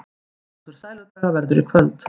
Hápunktur Sæludaga verður í kvöld